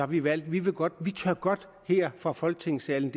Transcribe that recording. vi valgt at vi godt godt her fra folketingssalen